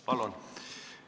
Palun!